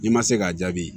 N'i ma se k'a jaabi